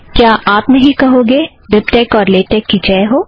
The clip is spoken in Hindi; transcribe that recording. क्या आप नहीं कहोगे बिबटेक और लेटेक की जय हो